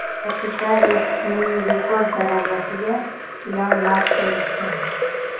Kapital o‘sishining rekord darajasiga Ilon Mask erishgan.